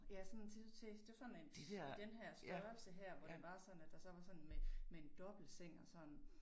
Ja sådan til til det var sådan en denne her størrelse her hvor det var sådan at der var sådan med med en dobbeltseng og sådan